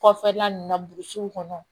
Kɔfɛla ninnu na burusiw kɔnɔ